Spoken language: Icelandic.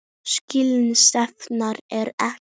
Slík stefna er ekki til.